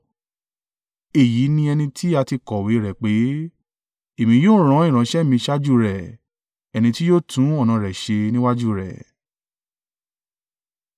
Èyí ni ẹni tí a ti kọ̀wé rẹ̀ pé: “ ‘Èmi yóò rán ìránṣẹ́ mi síwájú rẹ, ẹni tí yóò tún ọ̀nà rẹ ṣe níwájú rẹ.’